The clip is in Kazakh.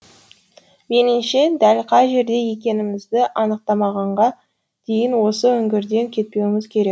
меніңше дәл қай жерде екенімізді анықтағанға дейін осы үңгірден кетпеуіміз керек